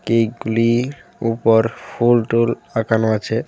কেকগুলির উপর ফুলটুল আঁকানো আছে.